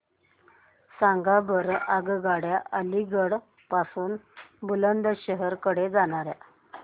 सांगा बरं आगगाड्या अलिगढ पासून बुलंदशहर कडे जाणाऱ्या